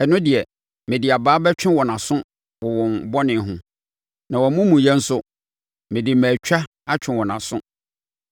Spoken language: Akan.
ɛno deɛ, mede abaa bɛtwe wɔn aso wɔ wɔn bɔne ho na wɔn amumuyɛ nso mede mmaatwa atwe wɔn aso;